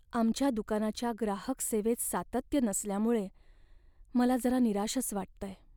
आमच्या दुकानाच्या ग्राहक सेवेत सातत्य नसल्यामुळे मला जरा निराशच वाटतंय.